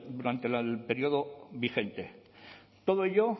durante el período vigente todo ello